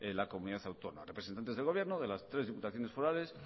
la comunidad autónoma representantes del gobierno de las tres diputaciones forales